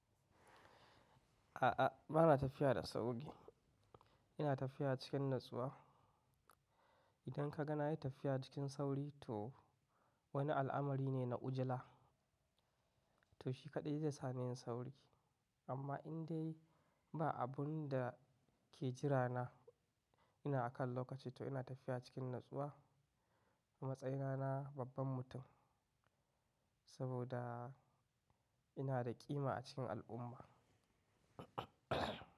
A'a, ba na tafiya da sauri, ina tafiya cikin natsuwa. Idan ka ga na yi tafiya cikin sauri, to wani al'amari ne na ujila, to shi kaɗai zai sa ni yin sauri. Amma in dai ba abun da ke jira na ina akan lokaci, to ina tafiya cikin natsuwa. A matsayina na babban mutum, saboda ina da ƙima a cikin al'umma.